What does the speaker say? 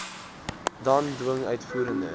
dan dwing uitvoerende